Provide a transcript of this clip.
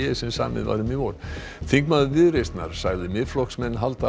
sem samið var um í vor þingmaður Viðreisnar sagði Miðflokksmenn halda